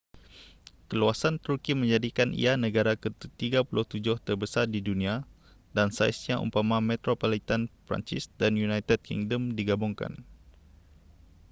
keluasan turki menjadikan ia negara ke-37 terbesar di dunia dan saiznya umpama metropolitan perancis dan united kingdom digabungkan